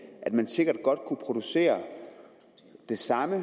sikkert godt kunne producere det samme